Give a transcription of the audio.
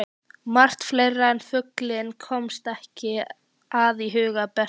Margt fleira en fuglinn komst ekki að í huga Bertu.